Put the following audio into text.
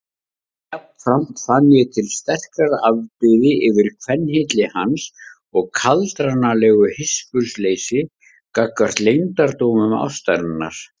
Jafnframt fann ég til sterkrar afbrýði yfir kvenhylli hans og kaldranalegu hispursleysi gagnvart leyndardómum ástarinnar.